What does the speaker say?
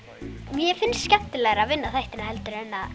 mér finnst skemmtilegra að vinna þættina en að